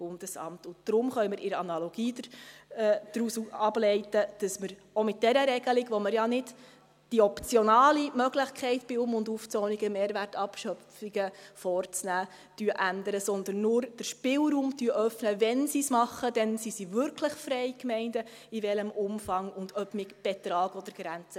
Deshalb können wir in der Analogie daraus ableiten, dass man auch mit dieser Regelung, bei welcher wir ja nicht die optionale Möglichkeit ändern, bei Um- und Aufzonungen Mehrwertabschöpfungen vorzunehmen, sondern nur den Spielraum öffnen, dass dann die Gemeinden, wenn sie es tun, wirklich frei sind zu arbeiten, in welchem Umfang auch immer und ob mit Betrag oder Grenze.